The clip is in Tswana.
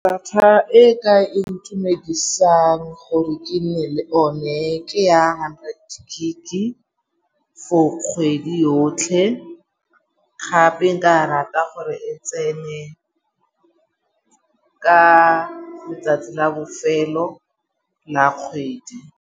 Data e ka intumedisa gore ke nne le one ke ya hundred gig-i for kgwedi yotlhe gape nka rata gore e tsene ka letsatsi la bofelo la kgwedi.